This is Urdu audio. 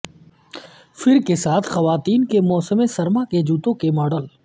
فر کے ساتھ خواتین کے موسم سرما کے جوتے کے ماڈل